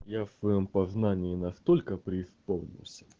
я в своём познании настолько преисполнился